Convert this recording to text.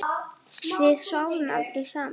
Við sváfum aldrei saman.